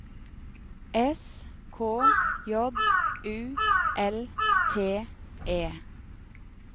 S K J U L T E